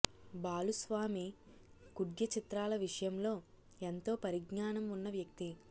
బాలుస్వామి కుడ్య చిత్రాల విషయంలో ఎంతో పరిజ్ఞానం ఉన్న వ్యక్తి